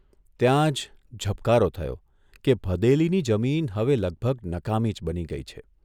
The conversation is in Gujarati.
ત્યાં જ ઝબકારો થયો કે ભદેલીની જમીન હવે લગભગ નકામી જ બની ગઇ છે.